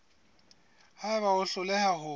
ha eba o hloleha ho